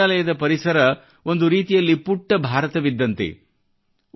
ವಿಶ್ವ ವಿದ್ಯಾಲಯದ ಪರಿಸರ ಒಂದು ರೀತಿಯಲ್ಲಿ ಪುಟ್ಟ ಭಾರತವಿದ್ದಂತೆ